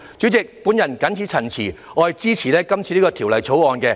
主席，我謹此陳辭，並支持《條例草案》。